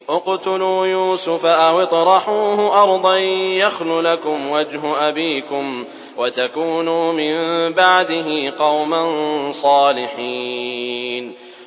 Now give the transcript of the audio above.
اقْتُلُوا يُوسُفَ أَوِ اطْرَحُوهُ أَرْضًا يَخْلُ لَكُمْ وَجْهُ أَبِيكُمْ وَتَكُونُوا مِن بَعْدِهِ قَوْمًا صَالِحِينَ